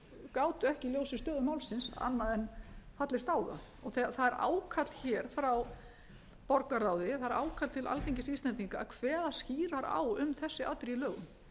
gátu ekki í ljósi stöðu málsins annað en fallist á það það er ákall hér frá borgarráði að er ákall til alþingis íslendinga að kveða skýrar á um þessi atriði í lögum